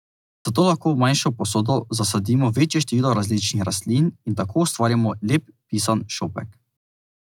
Zato lahko v manjšo posodo zasadimo večje število različnih rastlin in tako ustvarimo lep, pisan šopek.